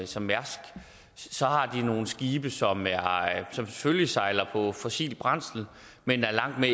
som mærsk så har de nogle skibe som selvfølgelig sejler på fossilt brændsel men er langt